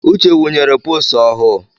Uche wunyere posu ọhụụ̣